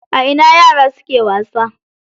A ina yaran suke wasa?